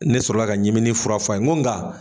Ne sɔrɔla ka ɲiminin fura fɔ a ye n ko nka